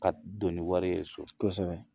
Ka don ni wari ye so, kosɛbɛ.